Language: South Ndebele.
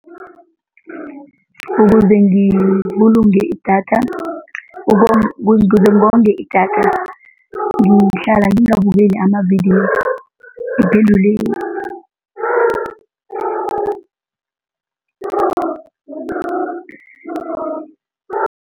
Ukuze ngibulunge idatha, ukuze ngonge idatha ngihlala ngingabukeli amavidiyo